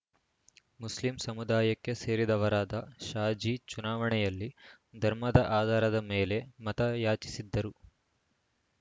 Muslim ಸಮುದಾಯಕ್ಕೆ ಸೇರಿದವರಾದ ಶಾಜಿ ಚುನಾವಣೆಯಲ್ಲಿ ಧರ್ಮದ ಆಧಾರದ ಮೇಲೆ ಮತಯಾಚಿಸಿದ್ದರು